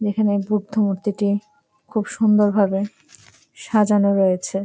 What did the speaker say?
এখানে বুদ্ধ মূর্তিটি খুব সুন্দর ভাবে সাজানো রয়েছে।